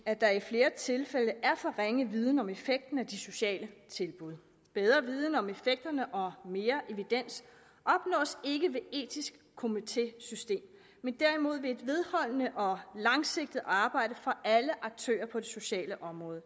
at der i flere tilfælde er for ringe viden om effekten af de sociale tilbud men bedre viden om effekterne og mere evidens opnås ikke ved et etisk komitésystem men derimod ved et vedholdende og langsigtet arbejde fra alle aktører på det sociale område